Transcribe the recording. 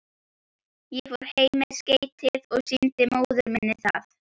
Ég fór heim með skeytið og sýndi móður minni það.